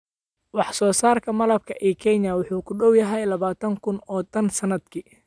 Wax soo saarka malabka ee Kenya wuxuu ku dhow yahay labaatan kun oo tan sanadkii.